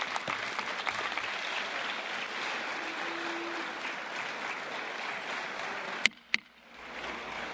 Muchas gracias, señor presidente del Gobierno de España, gracias por contestar a las preguntas de los diputados.